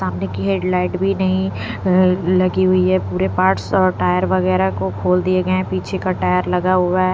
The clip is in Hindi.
सामने की हेडलाइट भी नहीं लगी हुई है पूरे पार्ट्स और टायर वगैरह को खोल दिए गए हैं पीछे का टायर लगा हुआ है।